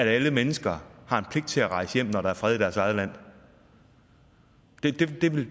at alle mennesker har en pligt til at rejse hjem når der er fred i deres eget land